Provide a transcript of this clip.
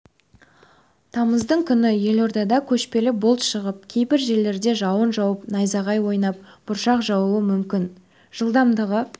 тамыздың күні елордада көшпелі бұлт шығып кейбір жерлерде жауын жауып найзағай ойнап бұршақ жаууы мүмкін жылдамдығы